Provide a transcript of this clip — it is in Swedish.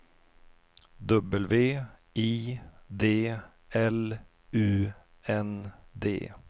W I D L U N D